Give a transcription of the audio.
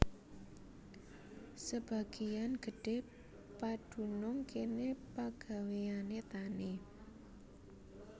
Sebagéyan gedhé padunung kéné pagawéyané tani